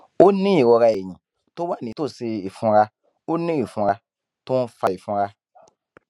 ó ní ìrora ẹyìn tó wà nítòsí ìfunra ó ní ìfunra tó ń fa ìfunra